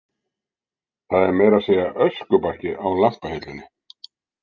Það er meira að segja öskubakki á lampahillunni.